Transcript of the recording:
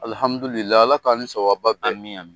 Ala k'an ni sawaba bɛn. Ami ami.